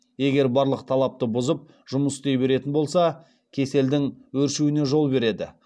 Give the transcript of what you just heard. егер барлық талапты бұзып жұмыс істей беретін болса кеселдің өршуіне жол береді